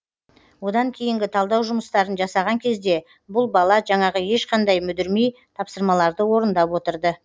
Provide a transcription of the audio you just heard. одан кейінгі талдау жұмыстарын жасаған кезде бұл бала жаңағы ешқандай мүдірмей тапсырмаларды орындап отырды